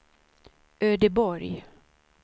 Ödeborg